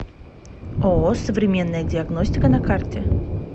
ооо современная диагностика на карте